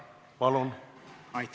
Palun!